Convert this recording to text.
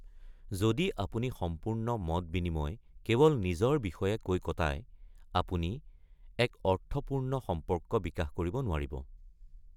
যদি আপুনি সম্পূৰ্ণ মত বিনিময় কেৱল নিজৰ বিষয়ে কৈ কটায়, অপুনি এক অৰ্থপূৰ্ণ সম্পৰ্ক বিকাশ কৰিব নোৱাৰিব।